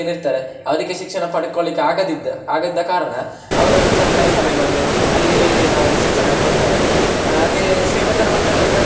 ಏನು ಇರ್ತಾರೆ ಅವ್ರಿಗೆ ಶಿಕ್ಷಣ ಪಡ್ಕೊಳ್ಳಿಕ್ಕೆ ಆಗದಿದ್ದ ಆಗದಿದ್ದ ಕಾರಣ ಅವ್ರು ಸರ್ಕಾರ ಶಾಲೆಗ್ ಬಂದು ಅಲ್ಲಿ ನಾವು ಶಿಕ್ಷಣ ಕೊಡ್ತಾರೆ, ಆಹ್ ಅದೇ ಶ್ರೀಮಂತರ ಮಕ್ಕಳಾದ್ರೆ